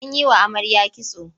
An yi wa amarya kitso.